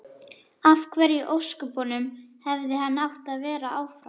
Af hverju í ósköpunum hefði hann átt að vera áfram?